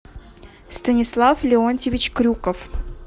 станислав леонтьевич крюков